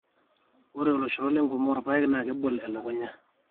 ore oloshoro lenkurma oolpaek na kebol elukunya